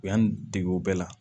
U y'an dege o bɛɛ la